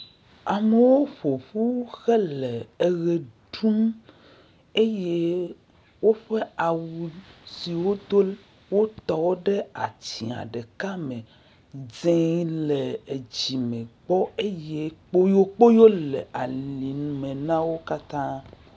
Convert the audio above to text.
Amewo ƒoƒu hele eʋe ɖum eye woƒe awu siwo wodo wotɔwo ɖe atsia ɖeka le me. Dze le edzime gbɔ eye kpoyokpoyo le alime na wo katã.